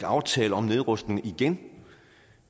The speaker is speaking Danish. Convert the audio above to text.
aftale om nedrustning igen